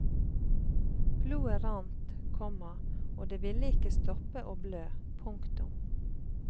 Blodet rant, komma og det ville ikke stoppe og blø. punktum